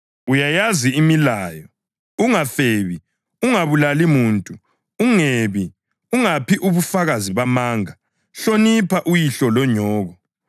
Uyayazi imilayo: ‘Ungafebi, ungabulali muntu, ungebi, ungaphi ubufakazi bamanga, hlonipha uyihlo lonyoko.’ + 18.20 U-Eksodasi 20.12-16; UDutheronomi 5.16-20 ”